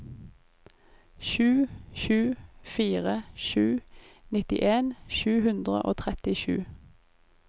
sju sju fire sju nittien sju hundre og trettisju